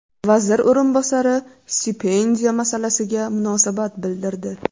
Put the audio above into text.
Vazir o‘rinbosari stipendiya masalasiga munosabat bildirdi.